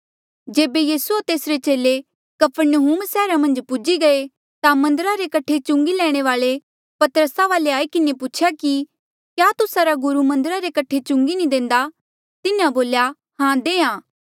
जेबे यीसू होर तेसरे चेले कफरनहूम सैहरा मन्झ पूजी गये ता मन्दरा रे कठे चुंगी लैणे वाल्ऐ पतरसा वाले आई किन्हें पूछेया कि क्या तुस्सा रा गुरु मन्दरा रे कठे चुंगी नी देंदा तिन्हें बोल्या हां देहां